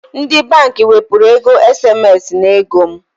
Ndi bank wepuru ego SMS n'ego m